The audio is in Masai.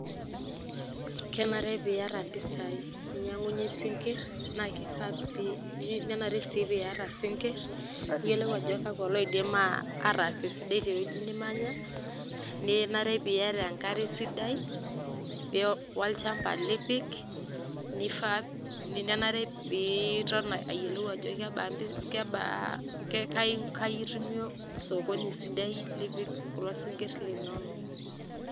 Kenare piiyata impisai ninyang'unye isinkir, naake ifaa um nenare sii piiyata isikir niyolou ajo kakwa loidim ataas esidai tewueji nimanya, ninare piiyata enkare sidai, wo olchamba lipik, nenare piiton ayolou ajo um kai itumie osokoni sidai lipik kulo sinkir linonok.